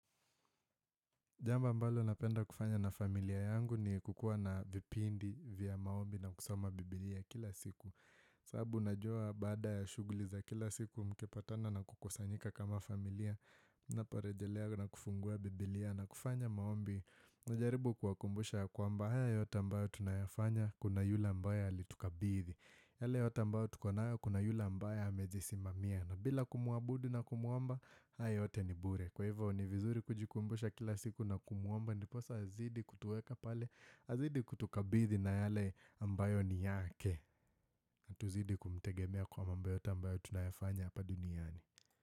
Jambo ambalo napenda kufanya na familia yangu ni kukua na vipindi vya maombi na kusoma biblia kila siku. Sababu najua baada ya shuguli za kila siku mkipatana na kukusanyika kama familia na parejelea na kufungua biblia na kufanya maombi. Nijaribu kuwakumbusha kwa mba haya yote ambao tunayafanya kuna yula ambaye ya alituka bithi. Yale yote ambao tukonayo kuna yule ambaye ya amezisi mamia na bila kumuabudi na kumuomba haya yote ni bure. Kwa hivyo ni vizuri kujikumbusha kila siku na kumuomba Niposa azidi kutueka pale Azidi kutukabidi na yale ambayo ni yake Natuzidi kumtegemea kwa mamba yota ambayo tunayafanya hapa duniani.